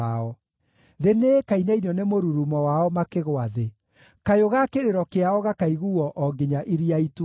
Thĩ nĩĩkainainio nĩ mũrurumo wao makĩgũa thĩ; kayũ ga kĩrĩro kĩao gakaiguuo o nginya Iria Itune.